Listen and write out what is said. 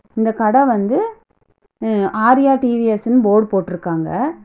இந்த கட வந்து ம்ம் ஆர்யா டி_வி_எஸ்னு போர்டு போட்டுருக்காங்க.